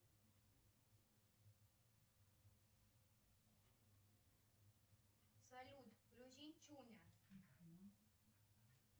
салют включи чуня